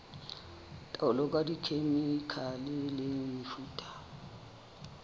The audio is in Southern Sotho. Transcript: taolo ka dikhemikhale le mefuta